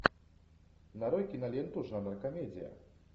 нарой киноленту жанра комедия